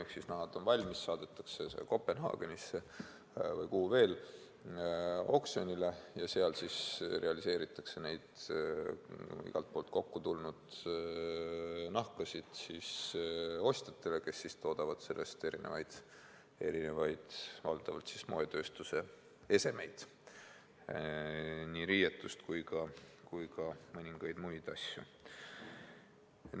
Kui nahad on valmis, saadetakse need Kopenhaagenisse või kuhugi mujale oksjonile ja seal müüakse need igalt poolt kokku tulnud nahad ostjatele, kes valmistavad neist valdavalt moetööstusesemeid – nii riietust kui ka mõningaid muid asju.